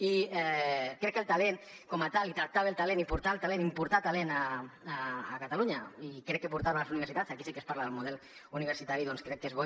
i crec que el talent com a tal i tractar bé el talent i portar el talent importar talent a catalunya i crec que portar lo a les universitats aquí sí que es parla del model universitari doncs és bo